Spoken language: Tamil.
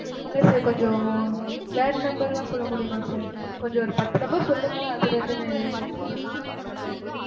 இல்ல sir கொஞ்சம் வேற number லாம் சொல்ல முடியுமா sir? கொஞ்சம் ஒரு பத்து number சொல்லுங்க, அதிலிருந்து நான் எதாச்சி ஒரு நாலு அஞ்சு number எடுத்துக்குறேன்.